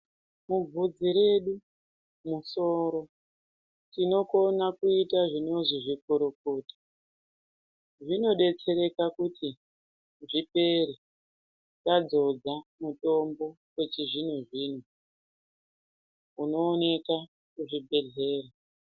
Mubvudzi redu mumusoro tinokona kuita zvinozi zvikorokota , zvinobetsere pakuti zvipere tadzodza mutombo wechizvino zvino unooneka muzvigwehleya.